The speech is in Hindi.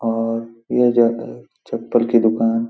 और ये जगह चप्पल की दुकान --